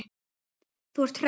Þú ert hress.